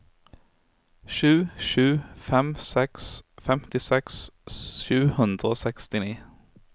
sju sju fem seks femtiseks sju hundre og sekstini